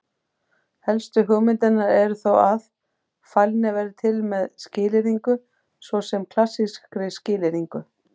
Helstu hugmyndirnar eru þó að: Fælni verði til með skilyrðingu, svo sem klassískri skilyrðingu.